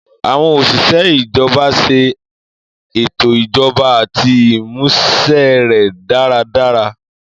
Àwọn osise ijọba ṣe ètò ijọba àti ìmúṣẹ rẹ̀ dáradára